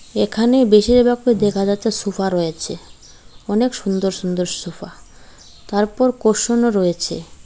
এখানে বেশির ভাগ দেখা যাচ্ছে সুফা রয়েছে অনেক সুন্দর সুন্দর সুফা তারপর কুশনও রয়েছে।